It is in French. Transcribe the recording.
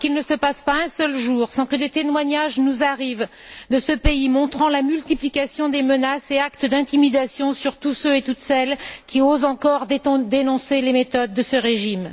Parce qu'il ne se passe pas un seul jour sans que des témoignages nous arrivent de ce pays montrant la multiplication des menaces et actes d'intimidation sur tous ceux et toutes celles qui osent encore dénoncer les méthodes de ce régime.